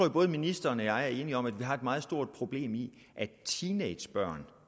at både ministeren og jeg er enige om at vi har et meget stort problem i at teenagebørn